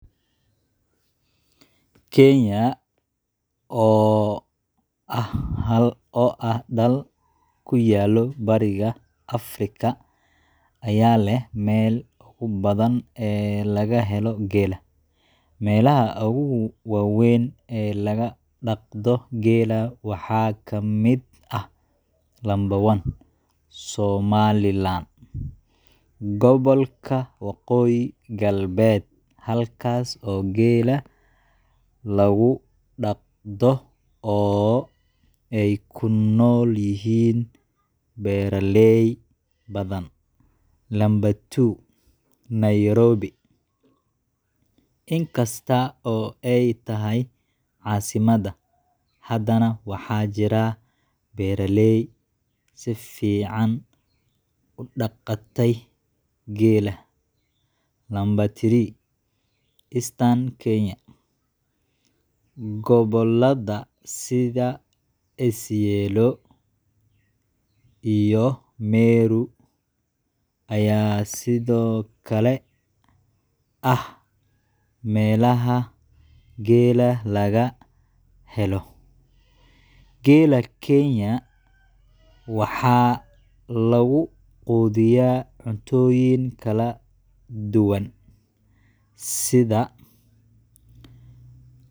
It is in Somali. Kenya, oo ah dal ku yaal Bariga Afrika, ayaa leh meelaha ugu badan ee laga helo geela. Meelaha ugu waaweyn ee lagu dhaqdo geela waxaa ka mid ah: 1.Somaliland Gobolka Waqooyi Galbeed, halkaas oo geela lagu dhaqdo oo ay ku nool yihiin beeraley badan. 2.Nairobi In kasta oo ay tahay caasimadda, haddana waxaa jira beeraley si fiican u dhaqaatay geela. 3.Eastern Kenya Gobollada sida Isiolo iyo Meru ayaa sidoo kale ah meelaha geela laga helo. Geela Kenya waxa lagu quudiyaa cuntooyin kala duwan, sida: